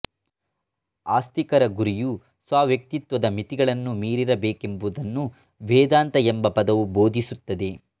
ಆಸ್ತಿಕರ ಗುರಿಯು ಸ್ವವ್ಯಕ್ತಿತ್ವದ ಮಿತಿಗಳನ್ನು ಮೀರಿರಬೇಕೆಂಬುದನ್ನು ವೇದಾಂತ ಎಂಬ ಪದವು ಬೋಧಿಸುತ್ತದೆ